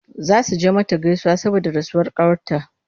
Za su je mata gaisuwa saboda rasuwar ƙawarta.